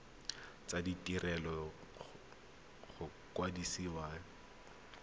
tsa ditiro go kwadisa khansele